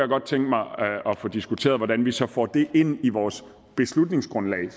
godt tænke mig at få diskuteret altså hvordan vi så får det ind i vores beslutningsgrundlag